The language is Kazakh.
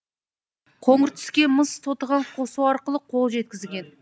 қоңыр түске мыс тотығын қосу арқылы қол жеткізген